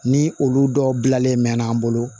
Ni olu dɔw dilanlen mɛ an bolo